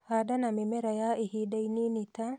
Handa na mĩmera ya ihinda inini ta